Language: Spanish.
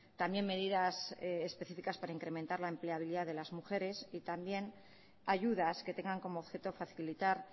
también medidas específicas para incrementar la empleabilidad de las mujeres y también ayudas que tengan como objeto facilitar